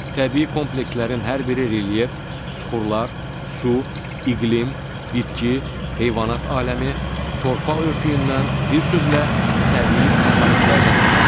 Təbii komplekslərin hər biri relyef, süxurlar, su, iqlim, bitki, heyvanat aləmi, torpaq örtüyündən, bir sözlə, təbii komponentlərdən ibarətdir.